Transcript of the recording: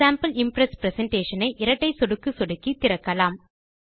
sample Impress presentation ஐ இரட்டை சொடுக்கு சொடுக்கி திறக்கலாம்